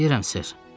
Bilirəm, ser.